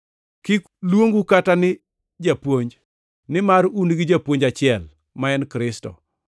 Kik luongu kata ni, Japuonj, nimar un gi Japuonj achiel, ma en Kristo.